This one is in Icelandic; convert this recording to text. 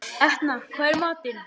Etna, hvað er í matinn?